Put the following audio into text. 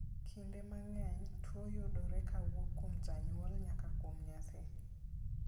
Kinde mang'eny, tuo yudore kowuok kuom janyuol nyaka kuom nyathi .